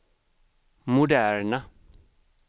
moderna